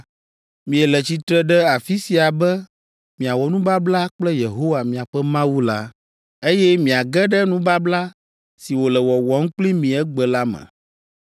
Miele tsitre ɖe afi sia be miawɔ nubabla kple Yehowa, miaƒe Mawu la, eye miage ɖe nubabla si wòle wɔwɔm kpli mi egbe la me.